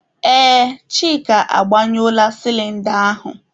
Ee, Chika agbanyụọla sịlịnda ahụ.